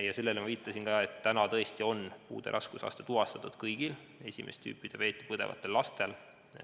Ja sellele viitasin ma ka, et täna on puude raskusaste tuvastatud tõesti kõigil esimest tüüpi diabeeti põdevatel lastel.